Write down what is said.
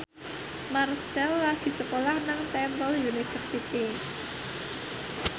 Marchell lagi sekolah nang Temple University